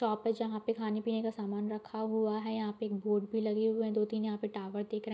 shop है जहाँ पे खाने-पीने का सामान रखा हुआ है यहाँ पे एक बोर्ड भी लगे हुए हैं दो-तीन टॉवर दिख रे --